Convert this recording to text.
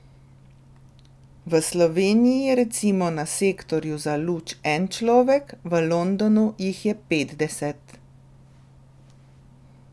V Sloveniji je recimo na sektorju za luč en človek, v Londonu jih je petdeset.